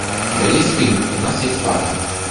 у тебя есть фильм у нас есть папа